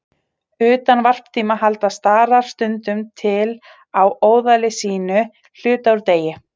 Utan varptíma halda starar stundum til á óðali sínu hluta úr degi.